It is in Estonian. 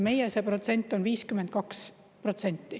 Meie see protsent on 52.